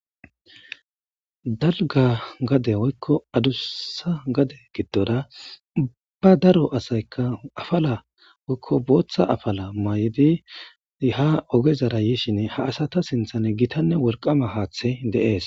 Dalga gade woykko adussa gade giddora ba daro asaykka afala woykko booththa afala maydi ha ogezara yishin ha asata sinthan gitanne wolqama haaththe deees.